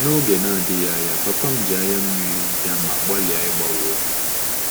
N'oge na-adịghị anya, cs] papa m ji anya mmiri bịa ma gbalịa ịgbanwe obi m.